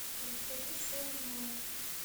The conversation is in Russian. расскажи что узнал